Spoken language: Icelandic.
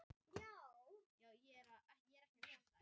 Mögnuð frammistaða.